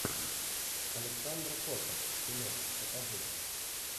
александра кота кино покажи